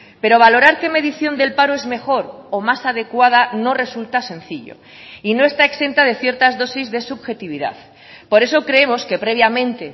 pero valorar qué medición del paro es mejor o más adecuada no resulta sencillo y no está exenta de ciertas dosis de subjetividad por eso creemos que previamente